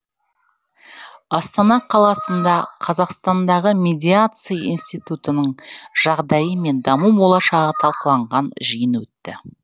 астана қаласында қазақстандағы медиация институтының жағдайы мен даму болашағы талқыланған жиын өтті